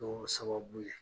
Dɔɔ sababu ye